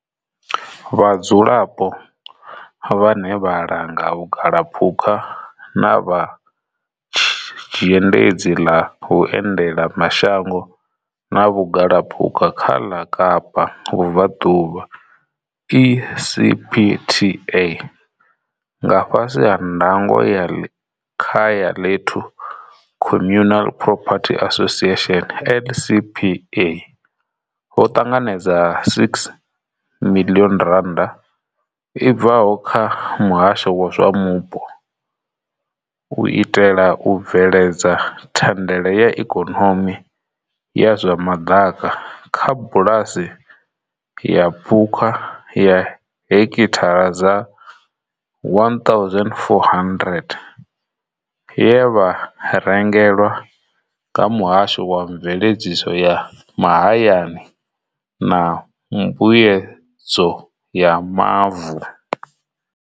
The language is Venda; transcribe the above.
Vhadzulapo, vhane vha langa vhugalaphukha na vha Zhendedzi ḽa Vhuendela mashango na Vhugalaphukha ḽa Kapa Vhubva ḓuvha ECPTA nga fhasi ha ndango ya Likhayalethu Communal Property Association LCPA, vho ṱanganedza R6 miḽioni i bvaho kha Muhasho wa zwa Mupo u itela u bveledza thandela ya ikonomi ya zwa maḓaka kha bulasi ya phukha ya hekithara dza 1 400 ye vha rengelwa nga Muhasho wa Mveledziso ya Mahayani na Mbuyedzo ya Mavu.